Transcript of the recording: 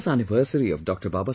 The birth anniversary of Dr